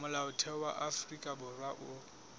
molaotheo wa afrika borwa o